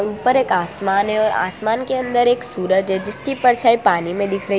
ऊपर एक आसमान और आसमान के अंदर एक सूरज है जिसकी परछाई पानी में दिख रही--